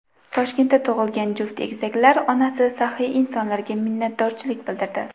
Toshkentda tug‘ilgan juft egizaklar onasi saxiy insonlarga minnatdorchilik bildirdi.